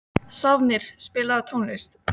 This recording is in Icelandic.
Sváfnir, spilaðu tónlist.